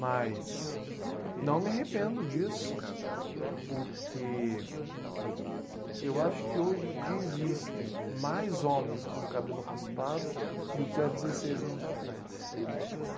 Mas não me arrependo disso, porque eu acho que hoje em dia existem mais homens com cabelo raspado do que há dezesseis anos atrás.